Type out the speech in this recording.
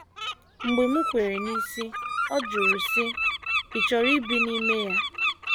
Mgbe m kwere n’isi, ọ jụrụ, sị, “ Ị̀ chọrọ ibi n’ime ya? ”